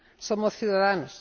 Somos ciudadanos.